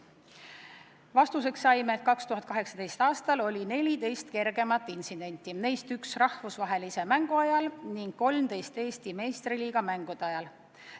Vastuseks saime, et 2018. aastal oli 14 kergemat intsidenti, neist üks rahvusvahelise mängu ajal ning 13 Eesti meistriliiga mängude ajal.